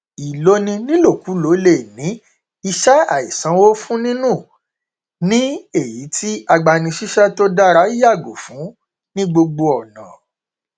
ìloni nílòkulò le ní iṣẹ àìsanwó fún nínú ní èyí tí agbani síṣẹ tó dára yàgò fún ní gbogbo ọnà